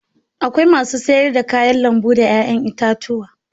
Akwai masu sayar da kayan lambu da 'ya'yan itatuwa.